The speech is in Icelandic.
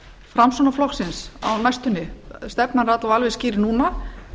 framsóknarflokksins á næstunni stefnan er öll alveg skýr núna